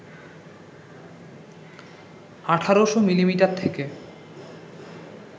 ১৮০০ millimetre থেকে